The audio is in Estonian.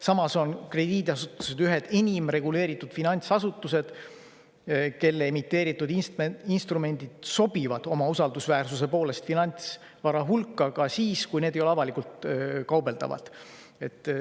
Samas on krediidiasutused ühed enim reguleeritud finantsasutused, kelle emiteeritud instrumendid sobivad oma usaldusväärsuse poolest finantsvara hulka ka siis, kui need ei ole avalikult kaubeldavad.